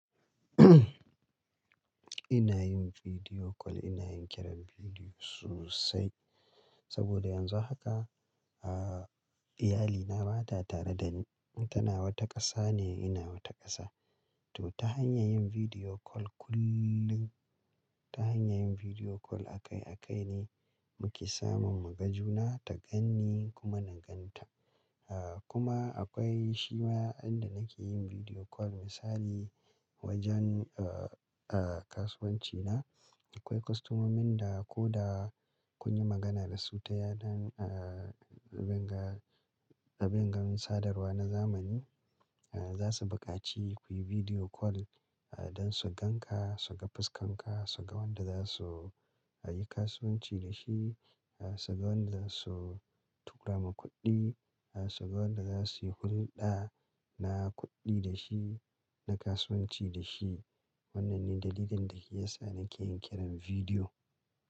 Ina yinkiran bidiyo, ina yin kiran bidiyo sosai saboda yanzu haka, ah, iyalina ba ta tare da ni. Tana wata ƙasa ne, ina wata ƙasa. To ta hanyar kiran bidiyo kullum, ta hanyar kiran bidiyo akai-akai ne muke samun mu ga juna, ta ganni kuma na gan ta. Ah, kuma akwai shi ma inda nake yin kiran bidiyo misali wajen, ah, ah, kasuwanci na. Akwai kostomomin da ko da kun yi magana da su ta yanar, ah, abin ga- abin gamin sadarwa na zamani, ah, za su buƙaci ku yi kiran bidiyo don su gan ka, su ga fuskanka, su ga wanda za su, yi kasuwanci da shi, ah, su ga wanda za su tura ma kuɗi, ah, su ga wanda za su yi hulɗa na kuɗi da shi, na kasuwanci da shi. Wannan ne dalilin da ke sa nake yin kiran bidiyo.